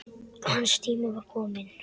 Hans tími var kominn.